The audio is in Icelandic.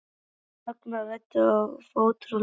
Ragnar ræddi af ótrúlegri fagmennsku um vopn og sprengjur.